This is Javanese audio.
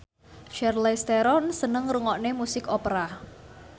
Charlize Theron seneng ngrungokne musik opera